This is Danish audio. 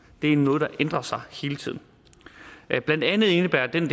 det er noget der ændrer sig hele tiden blandt andet indebærer den